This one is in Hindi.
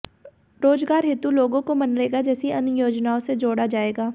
रोजगार हेतु लोगों को मनरेगा जैसी अन्य योजनाओं से जोड़ा जा जाएगा